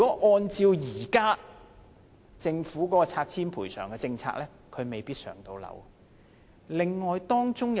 按照政府現行的拆遷賠償政策，他未必可以獲分配公屋。